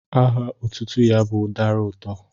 Aha otutu ya bu udara uto.